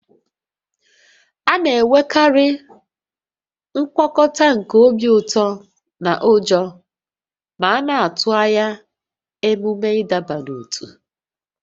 A na-enwekarị ngwakọta nke obi ụtọ na ụjọ ma a na-atụ anya ememe ịdọba n'ótú